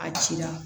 A ci la